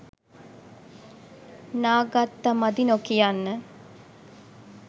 නා ගත්ත මදි නොකියන්න.